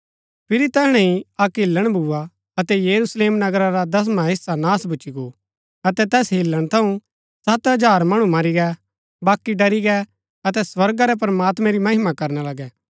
फिरी तैहणै ही अक्क हिल्‍लण भूआ अतै यरूशलेम नगरा रा दसवां हेस्सा नाश भूच्ची गो अतै तैस हिल्‍लण थऊँ सत हजार मणु मरी गै बाकी डरी गै अतै स्वर्गा रै प्रमात्मैं री महिमा करना लगै